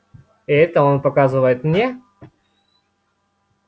и это он показывает мне